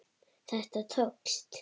Þetta tókst.